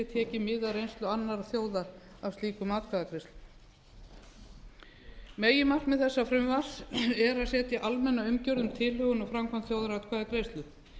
af reynslu annarra þjóða af slíkum atkvæðagreiðslum meginmarkmið þessa frumvarps er að setja almenna umgjörð um tilhögun og framkvæmd þjóðaratkvæðagreiðslu